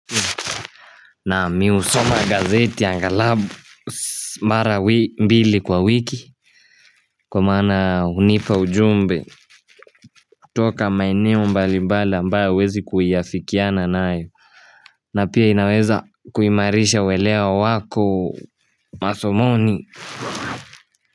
Naam, mimi husoma gazeti angalau mara mbili kwa wiki, kwa maana hunipa ujumbe toka maeneo mbali mbali ambayo huwezi kuiafikiana nayo na pia inaweza kuimarisha ueleo wako masomoni.